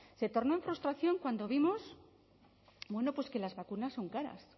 se tornó en frustración cuando vimos que las vacunas son caras